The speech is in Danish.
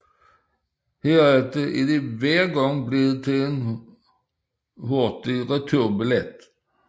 Herefter er det hver gang blevet til en hurtig returbillet